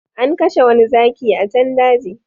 An kashe wani zaki a can daji